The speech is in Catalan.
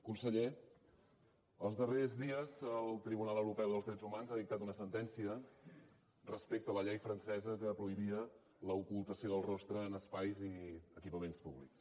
conseller els darrers dies el tribunal europeu dels drets humans ha dictat una sentència respecte a la llei francesa que prohibia l’ocultació del rostre en espais i equipaments públics